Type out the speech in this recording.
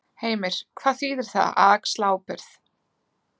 Heimir: Hvað þýðir það, að axla ábyrgð?